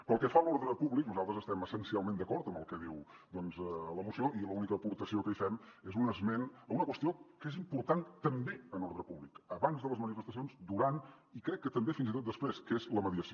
pel que fa a l’ordre públic nosaltres estem essencialment d’acord amb el que diu la moció i l’única aportació que hi fem és un esment a una qüestió que és important també en ordre públic abans de les manifestacions durant i crec que també fins i tot després que és la mediació